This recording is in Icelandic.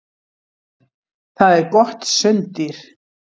Það er gott sunddýr.